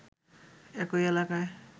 একই এলাকা